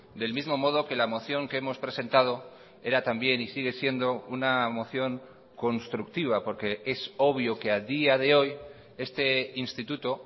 del mismo modo que la moción que hemos presentado era también y sigue siendo una moción constructiva porque es obvio que a día de hoy este instituto